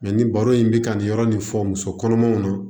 Mɛ ni baro in bɛ ka nin yɔrɔ nin fɔ muso kɔnɔmaw na